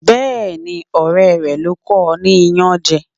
Bẹẹni, ọrẹ rẹ ló kọ ní iyanje.